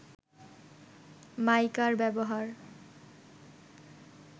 মাইকার ব্যবহার